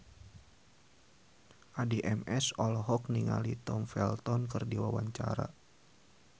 Addie MS olohok ningali Tom Felton keur diwawancara